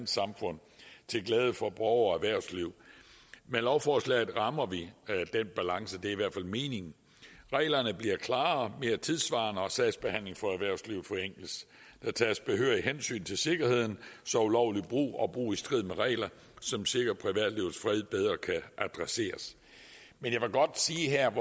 samfund til glæde for borgere og erhvervsliv med lovforslaget rammer vi den balance det er i hvert fald meningen at reglerne bliver klarere og mere tidssvarende og sagsbehandlingen for erhvervslivet forenkles der tages behørigt hensyn til sikkerheden så ulovlig brug og brug i strid med regler som sikrer privatlivets fred bedre kan adresseres men jeg vil godt sige her